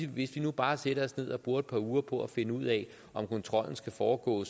hvis vi nu bare sætter os ned og bruger et par uger på at finde ud af om kontrollen skal foregå